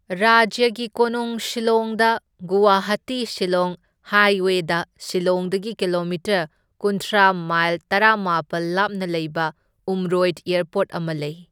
ꯔꯥꯖ꯭ꯌꯒꯤ ꯀꯣꯅꯨꯡ ꯁꯤꯜꯂꯣꯡꯗ ꯒꯨꯋꯥꯍꯥꯇꯤ ꯁꯤꯜꯂꯣꯡ ꯍꯥꯏꯋꯦꯗ ꯁꯤꯜꯂꯣꯡꯗꯒꯤ ꯀꯤꯂꯣꯃꯤꯇꯔ ꯀꯨꯟꯊ꯭ꯔꯥ ꯃꯥꯏꯜ ꯇꯔꯥꯃꯥꯄꯜ ꯂꯥꯞꯅ ꯂꯩꯕ ꯎꯝꯔꯣꯏꯗ ꯑꯦꯔꯄꯣꯔꯠ ꯑꯃ ꯂꯩ꯫